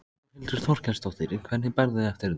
Þórhildur Þorkelsdóttir: Hvernig berðu þig eftir þetta?